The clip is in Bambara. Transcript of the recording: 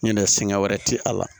Ɲinɛ sɛngɛ wɛrɛ ti a la